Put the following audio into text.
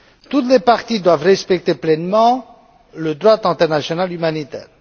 Toutes les parties doivent respecter pleinement le droit international humanitaire.